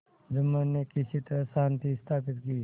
जुम्मन ने किसी तरह शांति स्थापित की